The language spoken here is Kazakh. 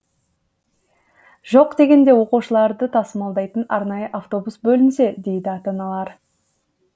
жоқ дегенде оқушыларды тасымалдайтын арнайы автобус бөлінсе дейді ата аналар